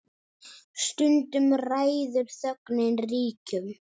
Stundum ræður þögnin ríkjum.